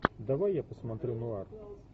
давай я посмотрю нуар